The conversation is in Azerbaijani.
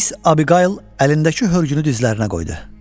Mis Abiqayl əlindəki hörgünü dizlərinə qoydu.